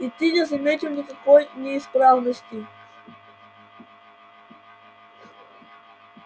и ты не заметил никакой неисправности